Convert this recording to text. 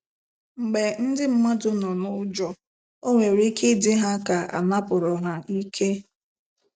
Mgbe ndị mmadụ nọ n'ụjọ, o nwere ike ịdị ha ka anapụrụ ha ike.